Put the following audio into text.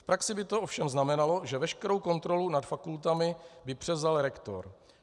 V praxi by to ovšem znamenalo, že veškerou kontrolu nad fakultami by převzal rektor.